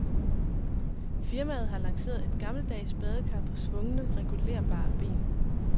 Firmaet har lanceret et gammeldags badekar på svungne regulerbare ben.